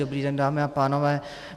Dobrý den, dámy a pánové.